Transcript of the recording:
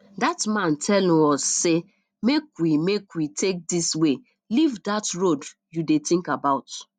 dat man tell um us say make we make we take dis way leave dat road you dey think about